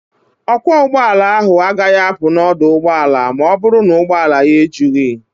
Ọkwọ ụgbọala ahụ agaghị apụ n'ọdụ ụgbọala a ma ọ bụrụ na ụgbọala ya ejughị.